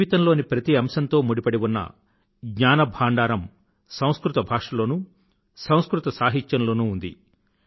జీవితంలోని ప్రతి అంశంతో ముడిపడి ఉన్న జ్ఞాన భాంఢారం సంస్కృత భాషలోనూ సంస్కృత సాహిత్యంలోనూ ఉంది